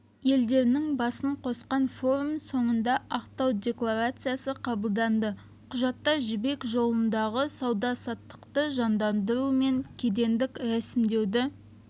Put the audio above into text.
елдерінің басын қосқан форум соңында ақтау декларациясы қабылданды құжатта жібек жолындағы сауда-саттықты жандандыру мен кедендік рәсімдеуді